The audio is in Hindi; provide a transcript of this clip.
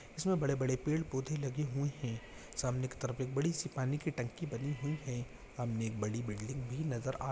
गार्डन बने हुए है इसमें बड़े बड़े पेड़ पोधे लगे हुए है सामने की तरफ बड़ी सी पानी की टंकी बनी लगी हुई है सामने एक बड़ी बिल्डिंग भी नजर आ--